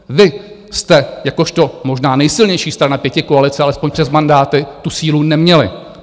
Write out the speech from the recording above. Vy jste - jakožto možná nejsilnější strana pětikoalice, alespoň přes mandáty - tu sílu neměli.